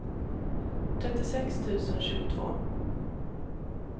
trettiosex tusen tjugotvå